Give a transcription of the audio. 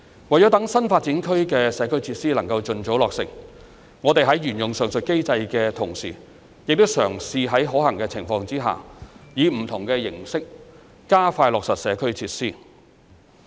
為了讓新發展區的社區設施能夠盡早落成，我們在沿用上述機制的同時，亦嘗試在可行的情況下，以不同形式加快落實社區設施。